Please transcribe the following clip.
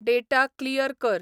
data clear कर